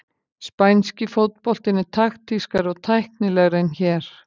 Spænski fótboltinn er taktískari og tæknilegri en hér.